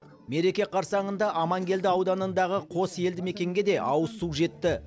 мереке қарсаңында аманкелді ауданындағы қос елді мекенге де ауызсу жетті